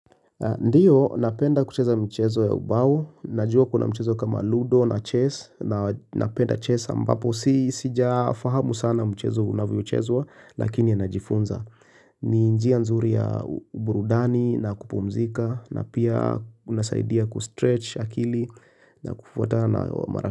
Ndiyo, napenda kucheza mchezo ya ubao, najua kuna mchezo kama ludo na chess, napenda chess ambapo, sijafahamu sana mchezo unavyochezwa, lakini najifunza. Ni njia nzuri ya burudani na kupumzika, na pia unasaidia kustretch akili na kufwata na marafi.